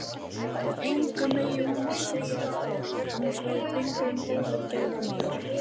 Og engum megi hún segja frá, annars verði drengurinn ógæfumaður.